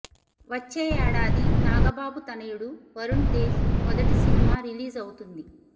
వచ్చే ఏడాది నాగబాబు తనయుడు వరుణ్ తేజ్ మొదటి సినిమా రిలీజ్ అవుతుంది